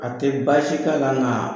A tɛ baasi k'a la nka